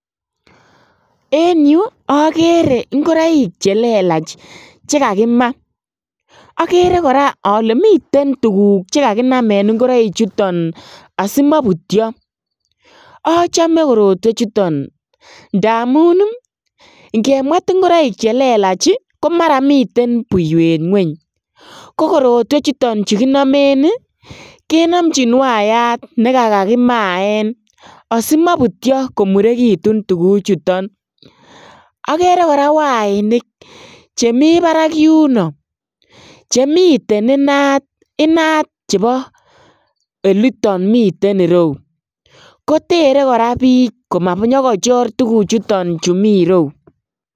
En yu agere ingoroik chelelach chikakimaaagere koraa ale miten tuguk chekakinamen ingoroik chuton asimabutyoachome korotwek chuton ntamun ingemwet ingoroik chuton chelelach komara miten buywet Ngwenya korotwek chuton chekinamen kenamchin wayatnikakimaen asimabutyo komurekitun tugukuchuton agere koraa wainik chemii Barak yunoo Chemiten inat kotere bik komachor tuguk Chemiten irou